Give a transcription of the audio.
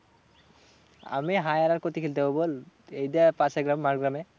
আমি hire আর কোথায় খেলতে যাবো বল? এইটা পাশের গ্রাম মাড় গ্রামে।